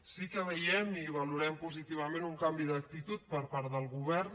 sí que veiem i valorem positivament un canvi d’actitud per part del govern